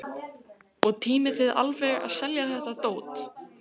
Erla Björg: Og tímið þið alveg að selja þetta dót?